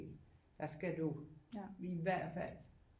Der skal jo i hvert fald